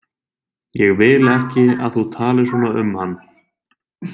Ég vil ekki, að þú talir svona um hann.